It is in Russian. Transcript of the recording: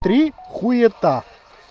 три хуита